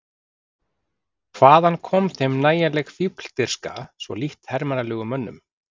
Hvaðan kom þeim nægjanleg fífldirfska, svo lítt hermannlegum mönnum?